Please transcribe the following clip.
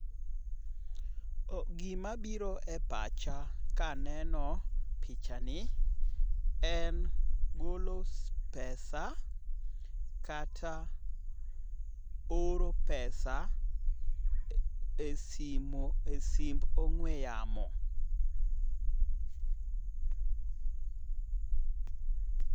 Gima biro e pacha kaneno picha ni en olo pesa kata oro pesa e simu e simb ong'we yamo